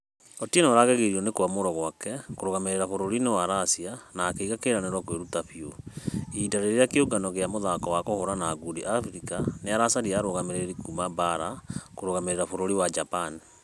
Otieno aragegirio nĩ kũamũrwo gwake kũrũgamĩrĩra bũrũri-inĩ wa russia na akĩiga kĩranĩro kwĩruta biũ. Ihinda rĩrĩa kĩũngano gĩa mũthako wa kũhũrana ngundi africa nĩaracaria arũgamĩrĩri kuuma baara kũrũgamĩrĩra bũrũri wa japan